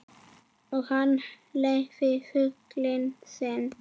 Og hún leynir flugi sínu.